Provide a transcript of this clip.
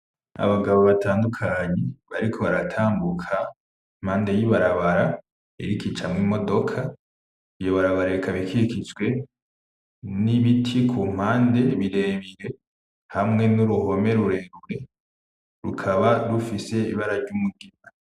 Abagabo batandukanye bariko baratambuka impande y'ibarabara iriko icamwo imodoka. Iyo barabara ikaba ikikijwe n'ibiti ku mpande, birebire, hamwe n'uruhome rurerure, rukaba rufise ibara ry'umugina.